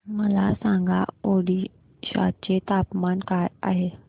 मला सांगा ओडिशा चे तापमान काय आहे